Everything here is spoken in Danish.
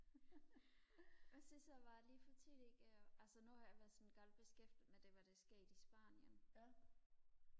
hvad synes du om alle de politikkere altså nu har jeg været sådan godt beskæftiget med det hvad der er sket i spanien